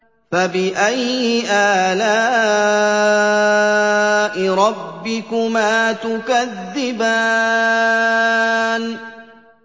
فَبِأَيِّ آلَاءِ رَبِّكُمَا تُكَذِّبَانِ